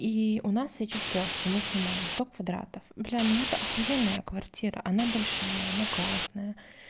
и у нас сейчас трёшка мы снимаем сто квадратов бля но это ахуенная квартира она большая она классная